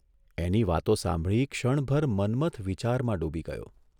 એની વાતો સાંભળી ક્ષણભર મન્મથ વિચારમાં ડૂબી ગયો.